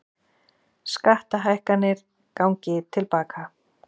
Skattahækkanir gangi til baka